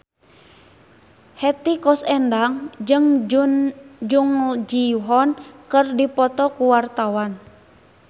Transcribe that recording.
Hetty Koes Endang jeung Jung Ji Hoon keur dipoto ku wartawan